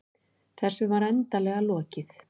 Þessu var endanlega lokið.